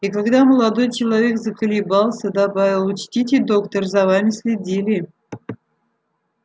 и когда молодой человек заколебался добавил учтите доктор за вами следили